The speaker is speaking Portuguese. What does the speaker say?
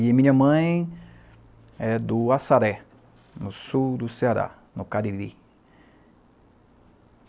E minha mãe é do Açaré, no sul do Ceará, no Cariri.